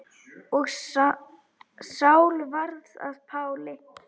Og Sál varð að Páli.